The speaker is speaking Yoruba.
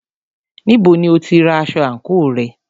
Níbo ni o tí ra aṣọ àńkò rẹ?